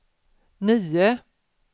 nio